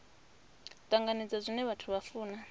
tanganedza zwine vhathu vha funa